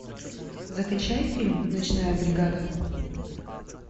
закачай фильм ночная бригада